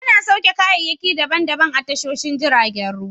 Ana sauke kayayyaki daban daban a tashoshin jiragen ruwa.